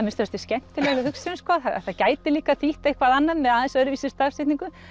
minnsta kosti skemmtileg hugsun sko það gæti líka þýtt eitthvað annað með aðeins öðruvísi stafsetningu